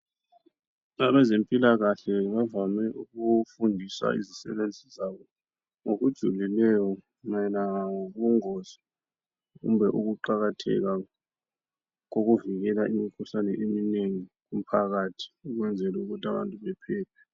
Abezempilakahle bavame ukufundisa izisebenzi zabo ngokujulileyo mayelana lobungozi kumbe ukuqakatheka kokuvikela imkhuhlane eminengi kumphakathi ukwenzela ukuthi abantu bephephe.